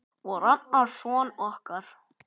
Og Ragnar son okkar.